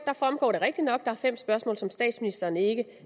fremgår det rigtigt nok at der er fem spørgsmål som statsministeren ikke